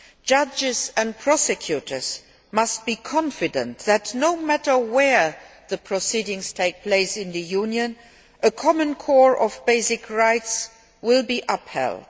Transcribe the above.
Judges and prosecutors must be confident that, no matter where the proceedings take place in the Union, a common core of basic rights will be upheld.